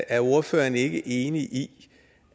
er ordføreren ikke enig i